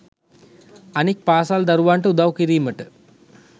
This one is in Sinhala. අනික් පාසල් දරුවන්ට උදව් කිරීමට